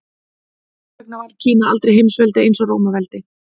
Hvers vegna varð Kína aldrei heimsveldi eins og Rómaveldi?